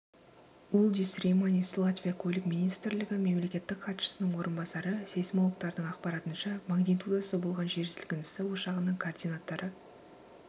улдис рейманис латвия көлік министрлігі мемлекеттік хатшысының орынбасары сейсмологтардың ақпарынша магнитудасы болған жер сілкінісі ошағының координаттары